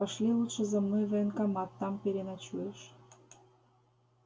пошли лучше за мной в военкомат там переночуешь